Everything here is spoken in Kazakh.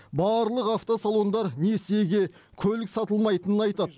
барлық автосалондар несиеге көлік сатылмайтынын айтады